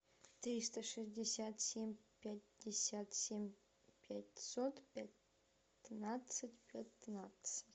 триста шестьдесят семь пятьдесят семь пятьсот пятнадцать пятнадцать